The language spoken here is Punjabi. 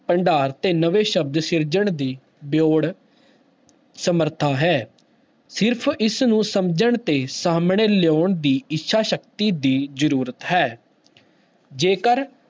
ਭੰਡਾਰ ਤੇ ਨਵੇਂ ਸ਼ਬਦ ਸਿਰਜਣ ਦੀ ਸਮਰਥਾ ਹੈ, ਸਿਰਫ਼ ਇਸਨੂੰ ਸਮਝਣ ਤੇ ਸਾਹਮਣੇ ਲਿਆਉਣ ਦੀ ਇੱਛਾ ਸ਼ਕਤੀ ਦੀ ਜ਼ਰੂਰਤ ਹੈ ਜੇਕਰ